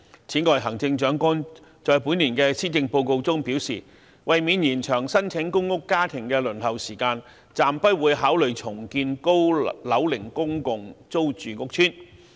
此外，行政長官在本年的《施政報告》中表示，為免延長申請公屋家庭的輪候時間，暫不會考慮重建高樓齡公共租住屋邨。